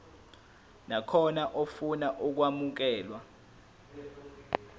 nakhona ofuna ukwamukelwa